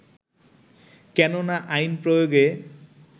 কেননা আইন প্রয়োগে